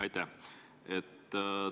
Aitäh!